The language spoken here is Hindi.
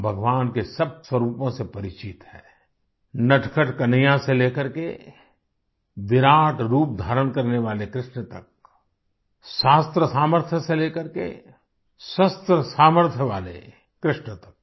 हम भगवान के सब स्वरूपों से परिचित हैं नटखट कन्हैया से ले करके विराट रूप धारण करने वाले कृष्ण तक शास्त्र सामर्थ्य से ले करके शस्त्र सामर्थ्य वाले कृष्ण तक